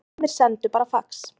Sumir sendu bara fax